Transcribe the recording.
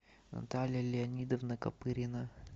наталья леонидовна копырина